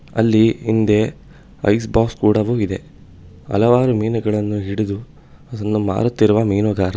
ಅಲ್ಲಿ ಹಿಂದೆ ice box ಕೂಡವು ಇದೆ ಹಲವಾರು ಮೀನುಗಳನ್ನು ಹಿಡದು ಅದನ್ನು ಮಾರುತ್ತಿರುವ ಮೀನುಗಾರ.